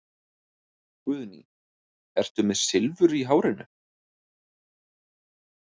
Guðný: Ertu með Silfur í hárinu?